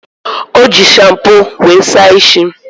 O ji shampoo were saa ishi.